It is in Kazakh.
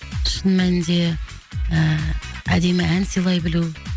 шын мәнінде ы әдемі ән сыйлай білу